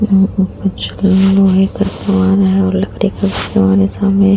कुछ लोहे का सामान है और लकड़ी का भी सामान है सामने --